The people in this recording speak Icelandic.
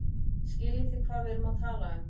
Skiljið þið hvað við erum að tala um.